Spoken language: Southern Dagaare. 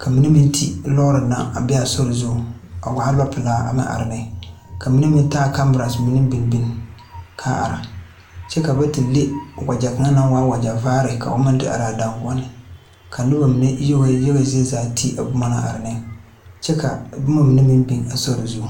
ka mine meŋ te lɔɔre naŋ a be a sore zuŋ a waa lɔ pilaa a meŋ are neŋ ka mine meŋ taa kamira mine binbin kaa ara kyɛ ka ba te le wagyɛ kaŋ naŋ waa wagyɛ vaare ka o meŋ te araa danguoɔneŋ ka nobɔ mine yaga zie zaa te a bomma na are neŋ kyɛ ka bomma mine meŋ biŋ a sore zuŋ.